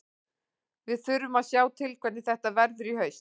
Við þurfum að sjá til hvernig þetta verður í haust.